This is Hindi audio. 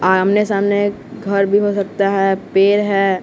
आमने सामने घर भी हो सकता है पेड़ है।